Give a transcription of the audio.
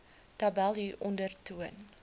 tabel hieronder toon